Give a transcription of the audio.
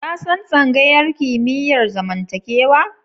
Ka san tsangayar kimiyyar zamantakewa?